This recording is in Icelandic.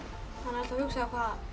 hugsa